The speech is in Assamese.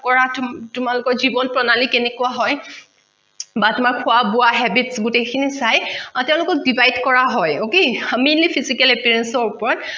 তোমালোকৰ জীৱন প্ৰণালী কেনেকুৱা হয় বা তোমাৰ খোৱা বোৱা habits গুটেই খিনি চাই তেওঁলোকক divide কৰা হয় okay appearance ৰ ওপৰত